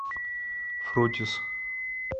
фрутис